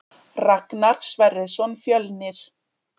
Ragnar Sverrisson Fjölnir